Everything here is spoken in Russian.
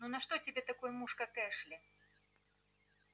ну на что тебе такой муж как эшли